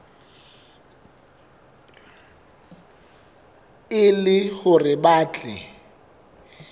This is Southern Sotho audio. e le hore ba tle